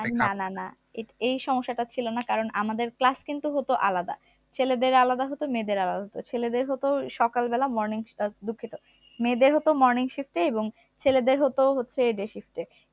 না না না এই সমস্যাটা ছিল না কারণ আমাদের class কিন্তু হত আলাদা ছেলেদের আলাদা হত মেয়েদের আলাদা হতো ছেলেদের হতো সকাল বেলা morning আহ দুঃখিত মেয়েদের হতো morning shift এ এবং ছেলেদের হতো day shift এ